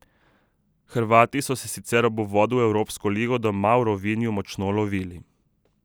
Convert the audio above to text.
Hrvati so se sicer ob uvodu v evropsko ligo doma v Rovinju močno lovili.